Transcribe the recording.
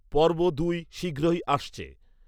পর্ব দুই শীঘ্রই আসছে